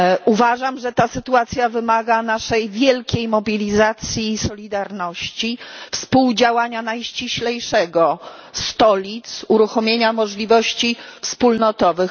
Uważam, że ta sytuacja wymaga naszej wielkiej mobilizacji i solidarności, współdziałania najściślejszego stolic, uruchomienia możliwości wspólnotowych.